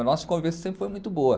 a nossa convivência sempre foi muito boa.